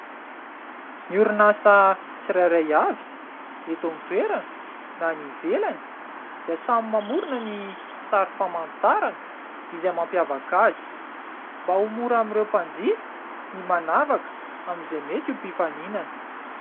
Ny orinasa tsirairay avy eto an-toerana na any ivelany dia samy mamorina ny sary famantarana izay mampiavaka azy ; mba ho mora amin'ireo mpanjifa ny manavaka amin'izay mety ho mpifaninana.